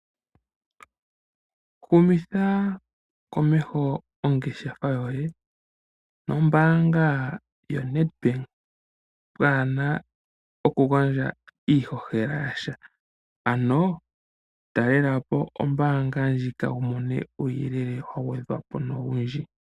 Humitha komeho ongeshefa yoye nombaanga yo Nedbank, pwaana oku gandja iihohela yasha, ano talelapo ombaanga ndjika yo wu mone uuyelele wa gwedhwapo nowundji.